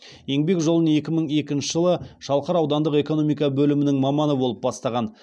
еңбек жолын екі мың екінші жылы шалқар аудандық экономика бөлімінің маманы болып бастаған